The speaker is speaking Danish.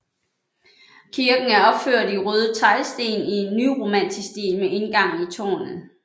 Kirken er opført i røde teglsten i nyromansk stil med indgang i tårnet